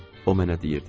O mənə deyirdi.